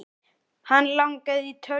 Hann langaði í tölvu.